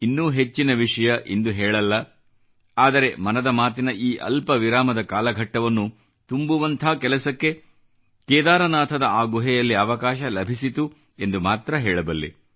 ಇನ್ನೂ ಹೆಚ್ಚಿನ ವಿಷಯ ಇಂದು ಹೇಳಲ್ಲ ಆದರೆ ಮನದ ಮಾತಿನ ಈ ಅಲ್ಪವಿರಾಮದ ಕಾಲಘಟ್ಟವನ್ನು ತುಂಬುವಂಥ ಕೆಲಸಕ್ಕೆ ಕೇದಾರನಾಥದ ಆ ಗುಹೆಯಲ್ಲಿ ಅವಕಾಶ ಲಭಿಸಿತು ಎಂದು ಮಾತ್ರ ಹೇಳಬಲ್ಲೆ